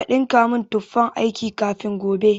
Ka ɗinka min tufan aiki na kafin gobe.